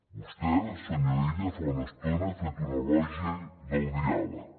vostè senyor illa fa una estona he fet un elogi del diàleg